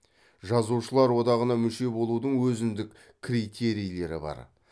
жазушылар одағына мүше болудың өзіндік критерийлері бар